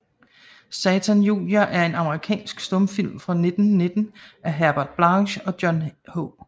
Satan Junior er en amerikansk stumfilm fra 1919 af Herbert Blaché og John H